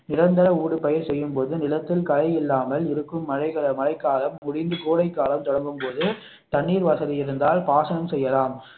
நிரந்தர ஊடு பயிர் செய்யும்போது நிலத்தில் களை இல்லாமல் இருக்கும் மழைக்காலம் முடிந்து கோடை காலம் தொடங்கும் போது தண்ணீர் வசதி இருந்தால் பாசனம் செய்யலாம்